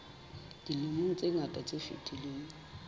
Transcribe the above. dilemong tse ngata tse fetileng